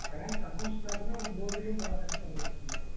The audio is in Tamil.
finace and accounts class bore அடிக்காமபோன section உங்க section தான்